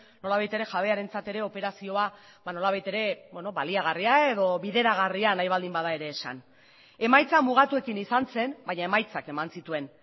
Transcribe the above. nolabait ere jabearentzat ere operazioa nolabait ere baliagarria edo bideragarria nahi baldin bada ere esan emaitza mugatuekin izan zen baina emaitzak eman zituen